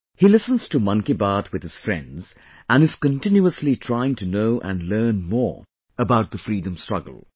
He listens to Mann Ki Baat with his friends and is continuously trying to know and learn more about the Freedom Struggle